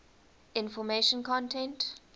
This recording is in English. information content